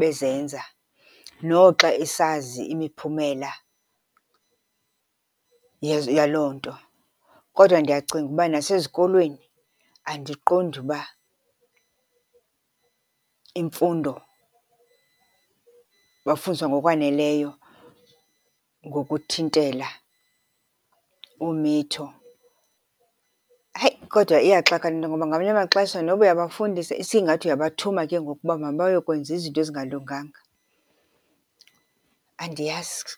bezenza noxa esazi imiphumela yezo yaloo nto. Kodwa ndiyacinga uba nasezikolweni andiqondi uba imfundo, bafundiswa ngokwaneleyo ngokuthintela umitho. Hayi kodwa, iyaxaka le nto ngoba ngamanye amaxesha noba uyabafundisa, isingathi uyabathuma ke ngoku uba mabayokwenza izinto ezingalunganga. Andiyazi.